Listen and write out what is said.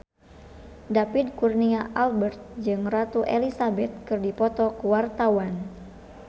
David Kurnia Albert jeung Ratu Elizabeth keur dipoto ku wartawan